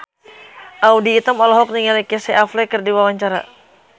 Audy Item olohok ningali Casey Affleck keur diwawancara